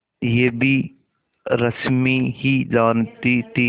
यह भी रश्मि ही जानती थी